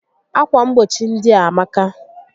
Ákwà mgbochi ndị a amaka